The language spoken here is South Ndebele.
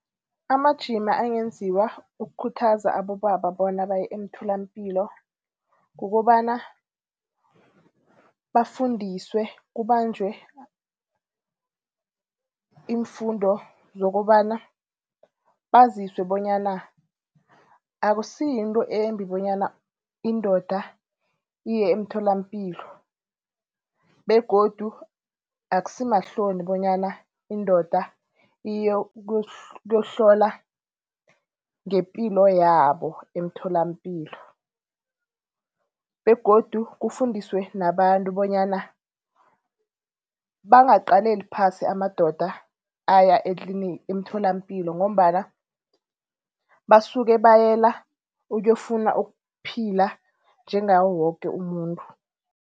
Amajima angenziwa ukukhuthaza abobaba bona baye emtholapilo kukobana bafundiswe, kubanjwe iimfundo zokobana baziswe bonyana akusiyinto embi bonyana indoda iye emtholapilo begodu akusimahloni bonyana indoda iyokuhlola ngepilo yabo emtholapilo. Begodu kufundiswe nabantu bonyana bangaqaleli phasi amadoda aya emtholapilo ngombana basuke bayela ukuyokufuna ukuphila njengawo woke umuntu.